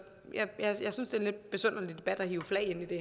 det er en lidt besynderlig debat at hive flag ind